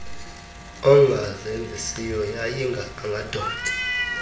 engazenzisiyo yayinga angadontsa